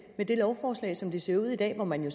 lovforslaget som det ser ud i dag hvor man jo